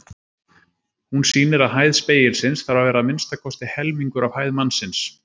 Hún sýnir að hæð spegilsins þarf að vera að minnsta kosti helmingur af hæð mannsins.